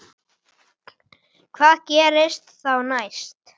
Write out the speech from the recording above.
En hvað gerist þá næst?